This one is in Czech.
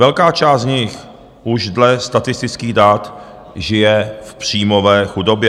Velká část z nich už dle statistických dat žije v příjmové chudobě.